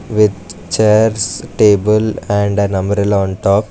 with chairs table and an umbrella on top.